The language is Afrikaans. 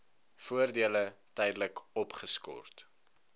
voordele tydelik opgeskort